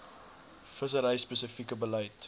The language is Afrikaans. vissery spesifieke beleid